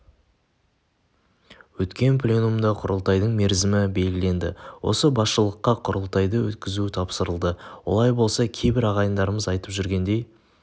өткен пленумда құрылтайдың мерзімі белгіленді осы басшылыққа құрылтайды өткізу тапсырылды олай болса кейбір ағайындарымыз айтып жүргендей